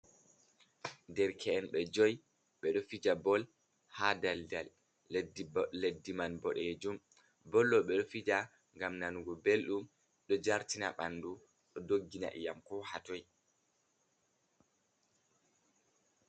Derke’en ɓe jui ɓeɗo fija bol ha daldal leddi man boɗejum. Bol ɗo ɓeɗo fija ngam nanugo belɗum ɗo jartina ɓandu, ɗo doggina iyam ko hatoi.